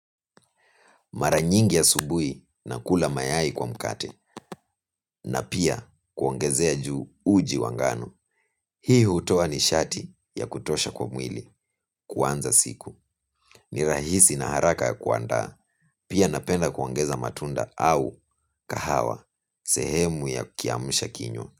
Mara nyingi ya asubuhi na kula mayai kwa mkate na pia kuongezea juu uji wa ngano. Hii hutoa nishati ya kutosha kwa mwili, kuanza siku. Ni rahisi na haraka ya kuanda, pia napenda kuongeza matunda au kahawa, sehemu ya kiamsha kinywa.